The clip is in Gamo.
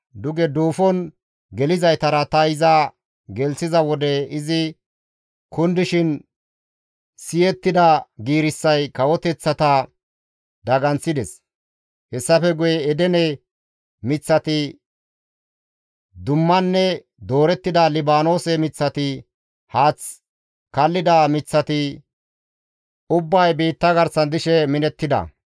Duge duufon gelizaytara ta iza gelththiza wode izi kundishin siyettida giirissay kawoteththata daganththides; hessafe guye Edene miththati, dummanne doorettida Libaanoose miththati, haath kallida miththati ubbay biitta garsan dishe minettida.